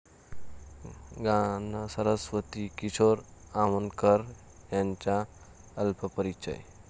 गानसरस्वती' किशोरी आमोणकर यांचा अल्पपरिचय